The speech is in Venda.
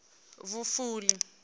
vhufuli